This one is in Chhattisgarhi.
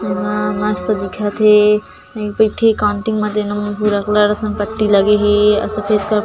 ये हा मस्त दिखत हे ये मेर एक ठी कॉउन्टिंग हे भूरा कलर असन पट्टी लगे हे आऊ सफ़ेद कलर --